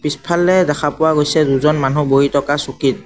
পিছফালে দেখা পোৱা গৈছে দুজন মানুহ বহি থকা চকীত।